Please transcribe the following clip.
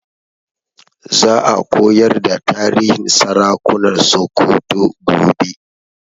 Za a koyar da tarihin sarakunan Sokoto gobe